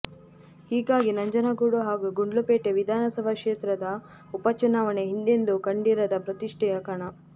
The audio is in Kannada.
ಹೀಗಾಗಿ ನಂಜನಗೂಡು ಹಾಗೂ ಗುಂಡ್ಲುಪೇಟೆ ವಿಧಾನಸಭಾ ಕ್ಷೇತ್ರದ ಉಪಚುನಾವಣೆ ಹಿಂದೆಂದೂ ಕಂಡಿರದ ಪ್ರತಿಷ್ಠೆಯ ಕಣ